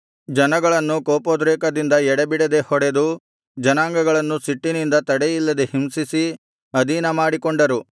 ಜನಗಳನ್ನು ಕೋಪೋದ್ರೇಕದಿಂದ ಎಡೆಬಿಡದೆ ಹೊಡೆದು ಜನಾಂಗಗಳನ್ನು ಸಿಟ್ಟಿನಿಂದ ತಡೆಯಿಲ್ಲದೆ ಹಿಂಸಿಸಿ ಅಧೀನಮಾಡಿಕೊಂಡರು